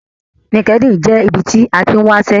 LinkedIn jẹ́ ibi tí a tín wáṣẹ́